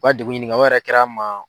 U ka degun ɲini ka o yɛrɛ kɛra n ma.